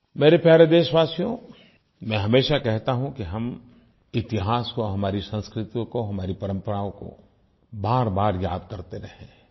मेरे प्यारे देशवासियों मैं हमेशा कहता हूँ कि हम इतिहास को हमारी संस्कृतियों को हमारी परम्पराओं को बारबार याद करते रहें